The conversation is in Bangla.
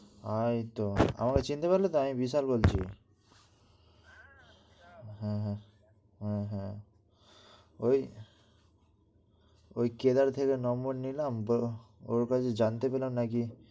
এইতো আমারে চিনতে পারলে তো? আমি বিশাল বলছি। হ্যাঁ হ্যাঁ ওই ওই কেদার থেকে নম্বর নিলাম, ওই জানতে পেলাম না কি